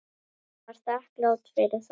Hún var þakklát fyrir það.